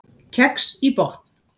Kex í botn